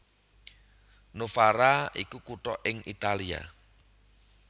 Novara iku kutha ing Italia